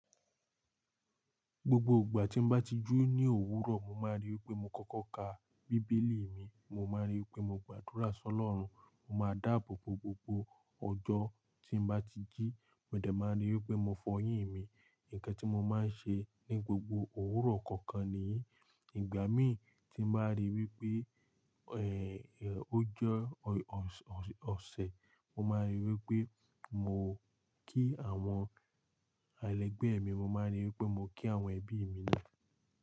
Gbogbo ìgbà tí mo bá ti ji ní òwúrọ̀, mo máa ríi wípé mo kọ́kọ́ ka bíbélì mi mo máa ríi wípé mo gbàdúrà sí Olórun. Mo máa dáàbò bo gbogbo ọjọ́ tí mo bá ti jí. Mò dẹ̀ máa ríi wípé mo fọyín mi. Ǹkan tí mo máa ń ṣe ní gbogbo òwúrọ̀ kọ̀ọ̀kan nìyí. Ìgbà mí tí n bàá ríi wípé ẹ́ẹ́ ọjọ́ ọṣẹ, mo máa ríi wípé mo kí àwọn ẹlẹgbẹ́ mi, mo máa ríi wípé mo kí àwọn ẹbí mi ni.